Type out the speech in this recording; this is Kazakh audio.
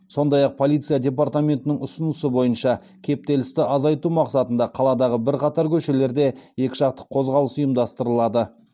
сондай ақ полиция департаментінің ұсынысы бойынша кептелісті азайтау мақсатында қаладағы бірқатар көшелерде екіжақты қозғалыс ұйымдастырылады